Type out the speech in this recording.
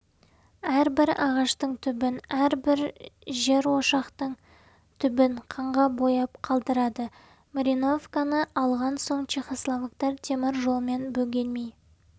әрбір ағаштың түбін әрбір жерошақтың түбін қанға бояп қалдырады марьяновканы алған соң чехословактар темір жолмен бөгелмей